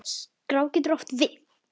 Skrá getur átt við